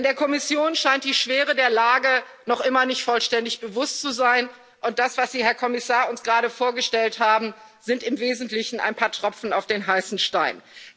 Denn der Kommission scheint die Schwere der Lage noch immer nicht vollständig bewusst zu sein, und das, was Sie, Herr Kommissar, uns gerade vorgestellt haben, sind im Wesentlichen ein paar Tropfen auf den heißen Stein.